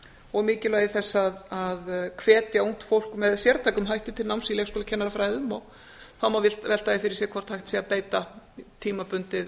og mikilvægi þess að hvetja ungt fólk með sértækum hætti til náms í leikskólakennarafræðum og þá má velta því fyrir sér hvort hægt sé að beita tímabundið